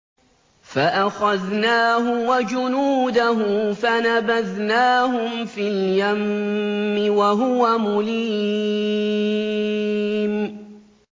فَأَخَذْنَاهُ وَجُنُودَهُ فَنَبَذْنَاهُمْ فِي الْيَمِّ وَهُوَ مُلِيمٌ